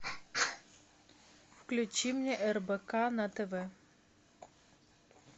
включи мне рбк на тв